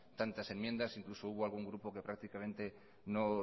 tantas enmiendas incluso hubo algún grupo que prácticamente no